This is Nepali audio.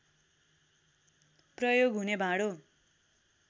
प्रयोग हुने भाँडो